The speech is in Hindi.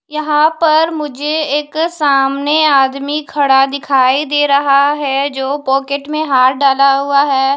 यहां पर मुझे एक सामने आदमी खड़ा दिखाई दे रहा है जो पॉकेट में हाथ डाला हुआ है।